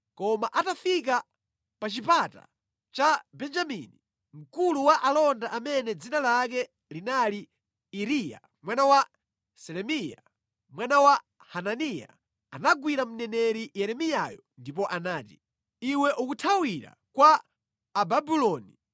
Koma atafika pa Chipata cha Benjamini, mkulu wa alonda amene dzina lake linali Iriya mwana wa Selemiya, mwana wa Hananiya, anagwira mneneri Yeremiyayo ndipo anati, “Iwe ukuthawira kwa Ababuloni!”